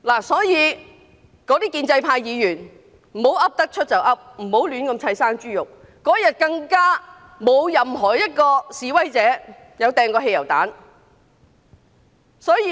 所以，建制派議員不要胡亂冤枉人，那天更沒有任何一名示威者投擲汽油彈。